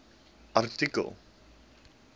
artikel